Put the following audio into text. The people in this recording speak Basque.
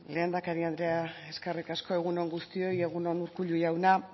lehendakari andrea eskerrik asko egun on guztioi egun on urkullu jauna